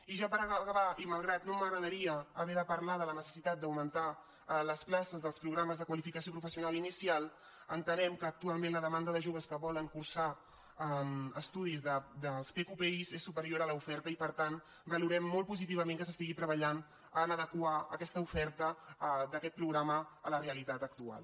i ja per acabar i malgrat que no m’agradaria haver de parlar de la necessitat d’augmentar les places dels programes de qualificació professional inicial ente·nem que actualment la demanda de joves que volen cursar estudis dels pqpi és superior a l’oferta i per tant valorem molt positivament que s’estigui treba·llant per adequar aquesta oferta d’aquest programa a la realitat actual